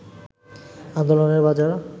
আন্দোলনের বাজার